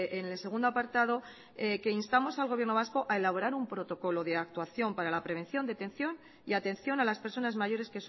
en el segundo apartado que instamos al gobierno vasco a elaborar un protocolo de actuación para la prevención detección y atención a las personas mayores